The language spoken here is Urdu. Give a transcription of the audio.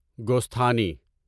گوستھانی